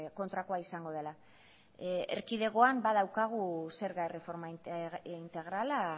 kontrakoa izango dela erkidegoan badaukagu zerga erreforma integrala